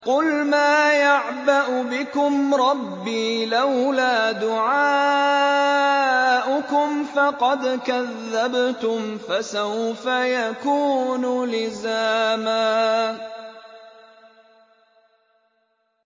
قُلْ مَا يَعْبَأُ بِكُمْ رَبِّي لَوْلَا دُعَاؤُكُمْ ۖ فَقَدْ كَذَّبْتُمْ فَسَوْفَ يَكُونُ لِزَامًا